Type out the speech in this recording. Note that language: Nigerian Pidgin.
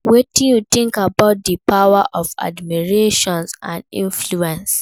Wetin you think about di power of admiration and influence?